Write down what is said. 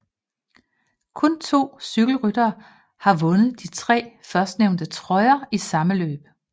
Kun to cykelryttere har vundet de tre førstnævnte trøjer i samme løb